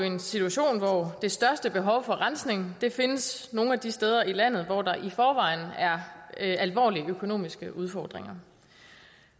en situation hvor det største behov for rensning findes nogle af de steder i landet hvor der i forvejen er alvorlige økonomiske udfordringer